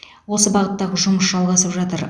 осы бағыттағы жұмыс жалғасып жатыр